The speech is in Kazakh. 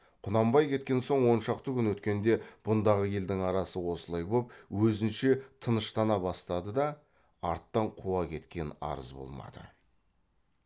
құнанбай кеткен соң он шақты күн өткенде бұндағы елдің арасы осылай боп өзінше тыныштана бастады да арттан қуа кеткен арыз болмады